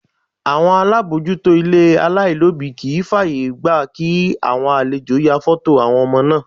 Àwọn alábòójútó ilé alailobi kì í fàyègba kí àwọn àlejò ya foto àwọn ọmọ náà.